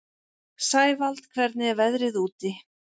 Sævald, hvernig er veðrið úti?